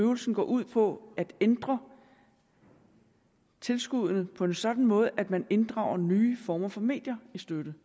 øvelsen går ud på at ændre tilskuddene på en sådan måde at man inddrager nye former for medier i støtten